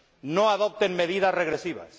no adopten medidas regresivas